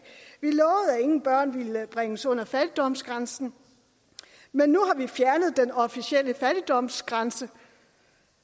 ingen børn ville bringes under fattigdomsgrænsen men nu har vi fjernet den officielle fattigdomsgrænse